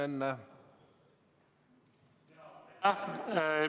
Aitäh!